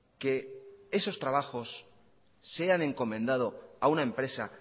que esos trabajos sean encomendado a una empresa